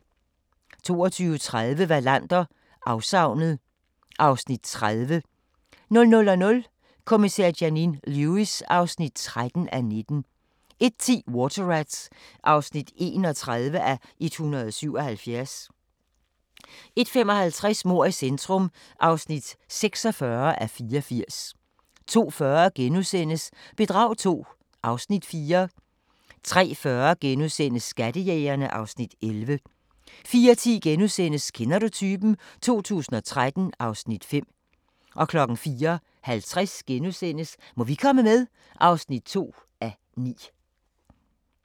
22:30: Wallander: Afsavnet (Afs. 30) 00:00: Kommissær Janine Lewis (13:19) 01:10: Water Rats (31:177) 01:55: Mord i centrum (46:84) 02:40: Bedrag II (Afs. 4)* 03:40: Skattejægerne (Afs. 11)* 04:10: Kender du typen? 2013 (Afs. 5)* 04:50: Må vi komme med? (2:9)*